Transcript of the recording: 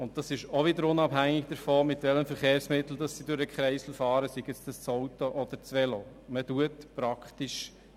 Auch das ist unabhängig vom Verkehrsmittel, mit dem sie durch den Kreisel fahren, sei es nun das Auto oder sei es das Velo.